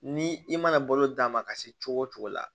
Ni i mana balo d'a ma ka se cogo o cogo la